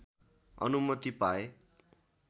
अनुमति पाए